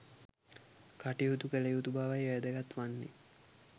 කටයුතු කළ යුතු බවයි වැදගත් වන්නේ